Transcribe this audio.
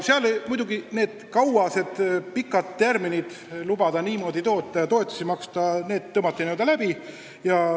Seal muidugi tõmmati need pikad tärminid lubada niimoodi toota ja toetusi maksta kindlalt läbi.